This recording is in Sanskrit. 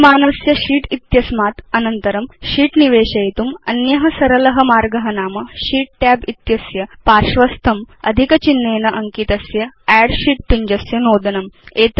विद्यमानस्य शीत् इत्यस्मात् अनन्तरं शीत् निवेशयितुम् अन्य सरल मार्ग नाम sheet tab इत्यस्य पार्श्वस्थं अधिक चिह्नेन अङ्कितस्य अद्द् शीत् पिञ्जस्य नोदनम्